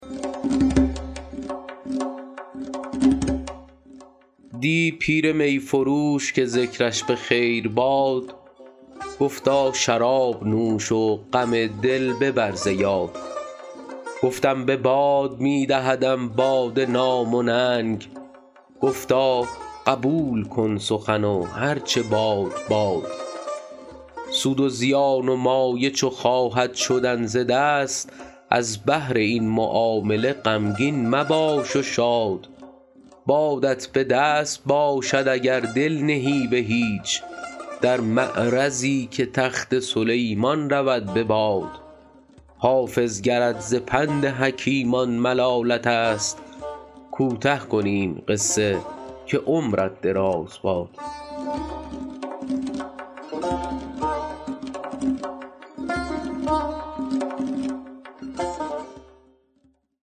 دی پیر می فروش که ذکرش به خیر باد گفتا شراب نوش و غم دل ببر ز یاد گفتم به باد می دهدم باده نام و ننگ گفتا قبول کن سخن و هر چه باد باد سود و زیان و مایه چو خواهد شدن ز دست از بهر این معامله غمگین مباش و شاد بادت به دست باشد اگر دل نهی به هیچ در معرضی که تخت سلیمان رود به باد حافظ گرت ز پند حکیمان ملالت است کوته کنیم قصه که عمرت دراز باد